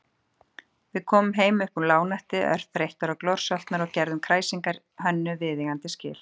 Við komum heim uppúr lágnætti örþreyttir og glorsoltnir og gerðum kræsingum Hönnu viðeigandi skil.